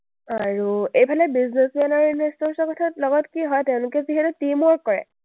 আৰু এইফালে businessman আৰু investors ৰ কথা- লগত কি হয়, তেওঁলোকে যিহেতু teamwork কৰে,